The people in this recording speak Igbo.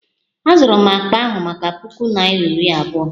Azụrụ m akpa ahụ maka puku naira iri abụọ